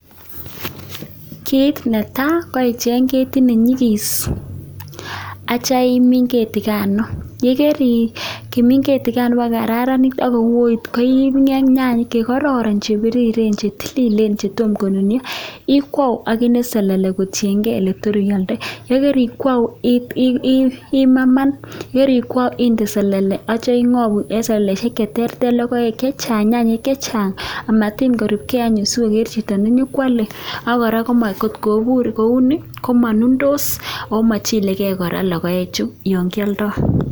kiit netai komakat ichen ketit akimin ketit koto kararanit akotia iipu nyanyek chepiriren chetomo konunyo inde selele akikwau akichng lokoek chechang akometuiye saiti simanunyo sokwal piik.